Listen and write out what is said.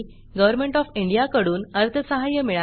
government of India कडून अर्थसहाय्य मिळाले आहे